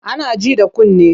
Ana ji da kunne.